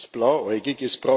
Das ist blauäugig.